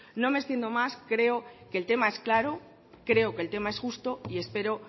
no me extiendo más creo que el tema es claro creo que el tema es justo y espero